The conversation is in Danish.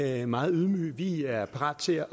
er meget ydmyge vi er parat til